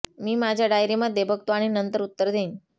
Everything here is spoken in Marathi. मी माझ्या डायरी मध्ये बघतो आणि नंतर उत्तर देईन